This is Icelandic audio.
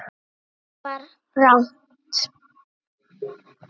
Allt var rangt.